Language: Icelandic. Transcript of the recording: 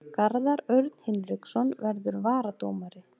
Garðar Örn Hinriksson verður varadómari.